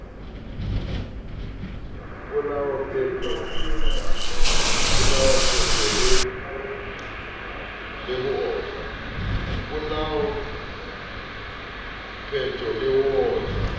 polao peto le ho otlwa